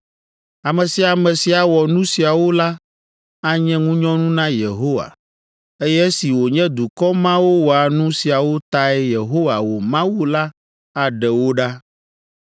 Ame sia ame si awɔ nu siawo la anye ŋunyɔnu na Yehowa, eye esi wònye dukɔ mawo wɔa nu siawo tae Yehowa, wò Mawu la aɖe wo ɖa.